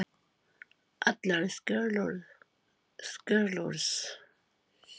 Allar skýrslur hans eru tilbúningur og þegar